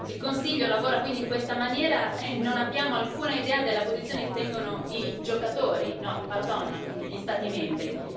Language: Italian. Il Consiglio lavora quindi in questa maniera e non abbiamo alcuna idea della posizione che tengono i giocatori, no pardon, quindi gli Stati membri.